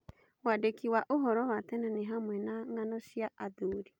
Wandĩki wa ũhoro wa tene nĩ hamwe na ng'ano cia athuri.